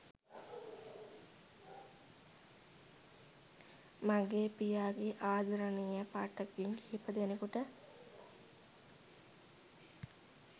මගේ පියාගේ ආදරණීය පාඨකයන් කිහිප දෙනෙකුට